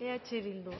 eh bildu